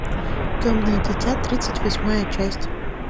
темное дитя тридцать восьмая часть